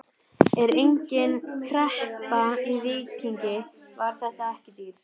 Er engin kreppa í Víkingi, var þetta ekki dýrt?